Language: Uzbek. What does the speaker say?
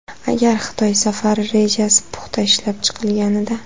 Agar Xitoy safari rejasi puxta ishlab chiqilganida.